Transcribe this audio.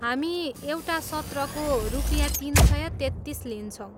हामी एउटा सत्रको रुपियाँ तिन सय तेत्तिस लिन्छौँ।